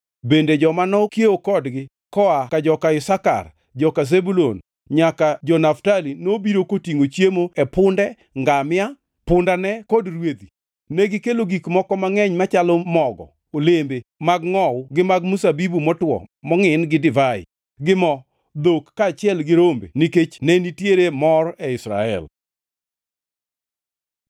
Bende joma nokiewo kodgi koa ka joka Isakar, joka Zebulun nyaka ka jo-Naftali nobiro kotingʼo chiemo e punde, ngamia, pundane kod rwedhi. Negikelo gik moko mangʼeny machalo mogo, olembe mag ngʼowu gi mag mzabibu motwo mongʼin gi divai, gi mo, dhok kaachiel gi rombe nikech ne nitiere mor e Israel.